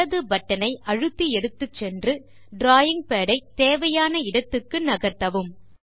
இடது பட்டனை அழுத்தி எடுத்துச் சென்று டிராவிங் பாட் ஐ தேவையான இடத்துக்கு நகர்த்தவும்